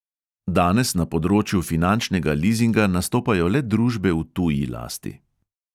"Danes na področju finančnega lizinga nastopajo le družbe v tuji lasti."